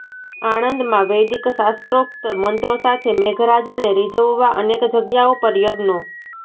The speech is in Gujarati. આણંદમાં વૈદિક શાસ્ત્રોક્ત મંત્રો સાથે મેઘરાજાને રીઝવવા અનેક જગ્યાઓ પર યજ્ઞો